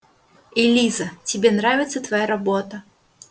элиза тебе нравится твоя работа